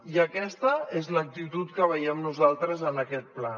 i aquesta és l’actitud que veiem nosaltres en aquest pla